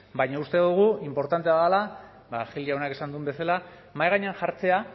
baina uste dugu inportantea dela gil jaunak esan duen bezala mahai gainean jartzea